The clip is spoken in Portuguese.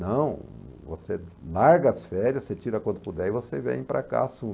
Não, você larga as férias, você tira quando puder e você vem para cá, assume.